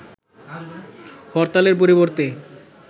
হরতালের পরিবর্তে